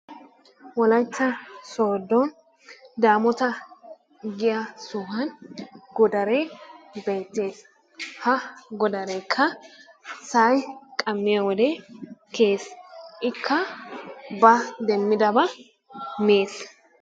Wolaytta sooddon daamoota giya sohuwan godaree beettees. Ha godareekka sa'ay qammiyo wode kiyees. Ikka ba demmidabaa mees.